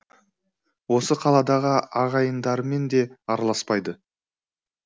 осы қаладағы ағайындарымен де араласпайды